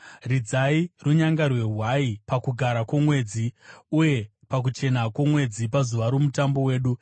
Ridzai runyanga rwehwai paKugara kwoMwedzi, uye pakuchena kwomwedzi, pazuva roMutambo wedu;